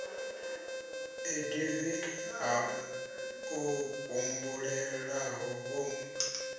a div ha o humbulelavho